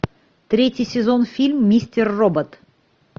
третий сезон фильм мистер робот